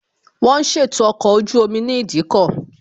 Wón ń ṣètò ọkọ̀ ojú omi ní ìdíkọ̀